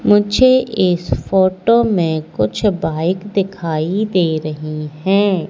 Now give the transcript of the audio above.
मुझे इस फोटो में कुछ बाइक दिखाई दे रही है।